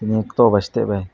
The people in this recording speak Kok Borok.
nok toh by stay by.